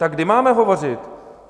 Tak kdy máme hovořit?